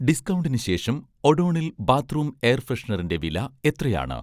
ഡിസ്കൗണ്ടിന് ശേഷം 'ഒഡോണിൽ' bathroom air ഫ്രെഷനറിന്‍റെ വില എത്രയാണ്?